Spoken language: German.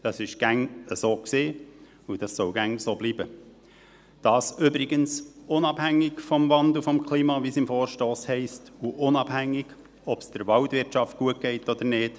Das war immer so und soll immer so bleiben – dies übrigens unabhängig vom Wandel des Klimas, wie es im Vorstoss heisst, und unabhängig davon, ob es der Waldwirtschaft gut geht oder nicht;